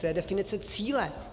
To je definice cíle.